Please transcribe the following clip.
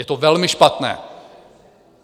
Je to velmi špatné.